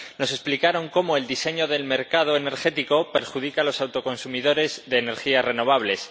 Nos explicaron cómo el diseño del mercado energético perjudica a los autoconsumidores de energías renovables.